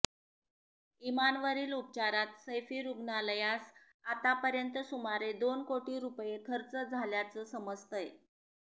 इमानवरील उपचारात सैफी रूग्णालयास आतापर्यंत सुमारे दोन कोटी रूपये खर्च झाल्याचं समजतंय